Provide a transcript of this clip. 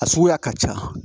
A suguya ka ca